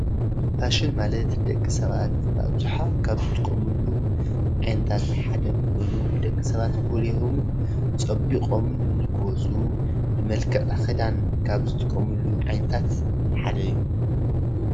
ፋሽን ማለት ደቂ ሰባት ኣብዝሓ ካብ ዝጥቀምሉ ዓይነታት ሓደ ኮይኑ ንደቂ ሰባት ጎሊሆምን ፀቢቆም ንክወፁ ብመልክዕ ክዳን ካብ ዝጥቀምሉ ዓይነታት ሓደ እዩ፡፡